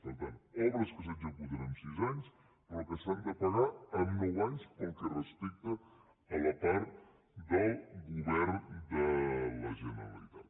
per tant obres que s’executen en sis anys però que s’han de pagar en nou anys pel que respecta a la part del govern de la generalitat